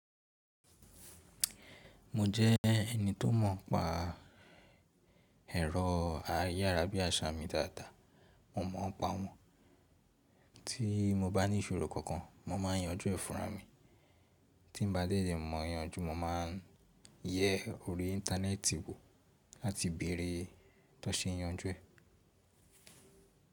Mo jẹ́ ẹni tó mọ̀ pa ẹ̀rọ ayára bí àṣá mi dáadáa. Mo mọ̀ n pa wọ́n. Tí mo bá ní ìṣòro kankan, mo má a ń yanjú ẹ́ fúnra mi. Tín ba dédé le mọ́ yanjú, mo máa ń yẹ orí íńtánẹ́ẹ̀tì wo láti bèrè tan sẹ́ yanjú ẹ̀.